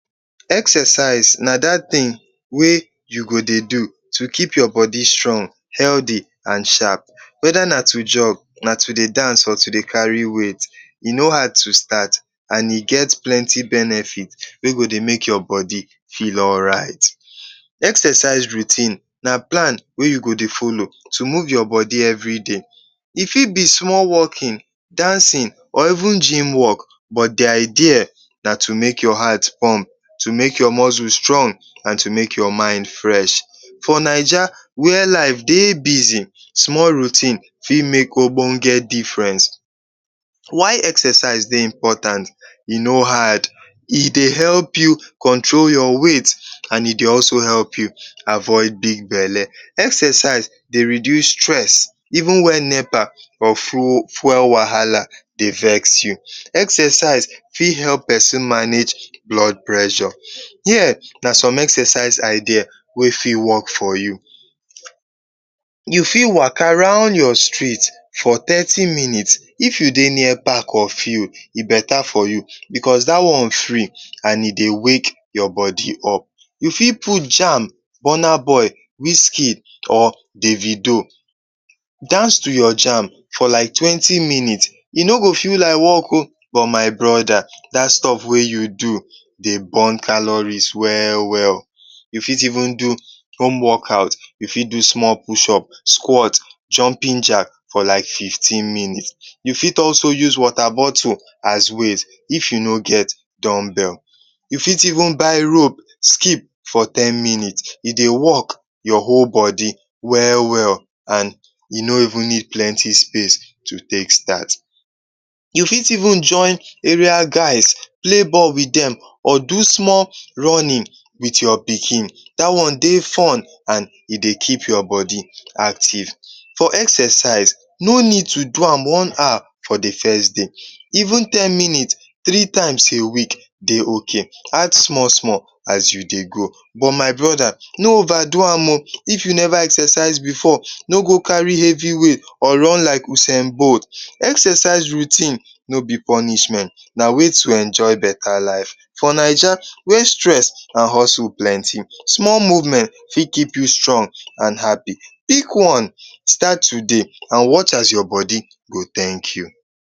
Exercise na dat tin wey you go dey do to keep your bodi strong, heldy and sharp weda na to jug, na to dey dance or to kari weight. E no hard to start and e get plenti benefit wey go dey ake your bodi feel alright. Exercise routine na plan wey you go dey follow to move your bodi every day, e fit be small walkin, dancin or even gym work. But the idea to make your heart pump, to make your muscle strong, and to make your mind fresh. For Naija wher life dey bizi, small routine fit make ogbonge diference. Why exercise dey important? E no hard: e dey help you control your weight and e dey also help you avoid big bele. Exercise dey reduce stress even wen nepa or fuel wahala dey vex you. Exercise fit help pesin manage blood pressure. Here na som exercise idea wey fit work for you: You fit waka round your street for thirti minutes, if you dey near park or field, e beta for you because da one free and e dey wake your body up. You fit put jam, burna boy wizkid or davido, dance to your jam for twenty minutes but e no feel like work o, my broda dat stuff wey you do dey burn caloris we-well. You fit even do home-work out, you fit even fit do small push up, quart, jumping jack for like fifteen minutes. for like fifteen minutes. You fit also use wota bottle as weight if you no get down belt. You fit even buy rope skip for ten minutes. You dey work your whole body we-well and you no even need plenty space to take start. You fit even join area guys pley ball with dem or do small runnin with your pikin, da dey fun and e dey keep your bodi active. For exercise no need to do am one hour for the first day. Even ten minutes three times a week dey ok, add small-small as you dey go, but my broda no ova do am o! if you never exercise before, no go kari hevi weight or run like sen boat. Exercise routine no be purnishment na way to enjoy beta life. For Naija wey stress and hustle plenti, small movement fit keep you strong and happy. Pick one and start today and watch as your bodi go tank you.